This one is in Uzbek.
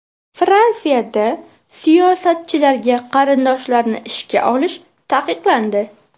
Fransiyada siyosatchilarga qarindoshlarini ishga olish taqiqlandi.